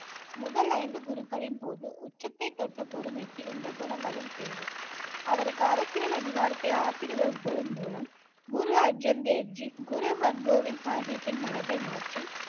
முதல் ஐந்து குருக்களின் போது உச்சத்தை தொட்ட பொறுமைக்கு இந்த குணங்களும் தேவை அவருக்கு அரசியல் அதிகாரத்தை ஆசீர்வதிப்பதன் மூலம் குரு அர்ஜன் தேவ்ஜி குரு ஹர்கோபிந்த் சாஹிப்பின் மனதை மாற்றி